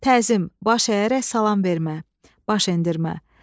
Təzim, baş əyərək salam vermə, baş endirmə.